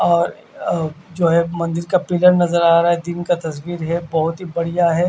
और जो है एक मंजिल का पिलर नज़र आ रहा है दिन का तस्वीर ये बोहोत ही बढ़िया है।